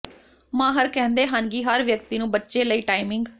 ਮਾਹਰ ਕਹਿੰਦੇ ਹਨ ਕਿ ਹਰ ਵਿਅਕਤੀ ਨੂੰ ਬੱਚੇ ਲਈ ਟਾਈਮਿੰਗ